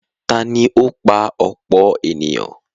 tani ó pa ọ̀pọ̀ ènìyàn?